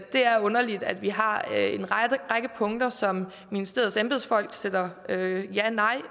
det er underligt at vi har en række punkter som ministeriets embedsfolk sætter ja eller nej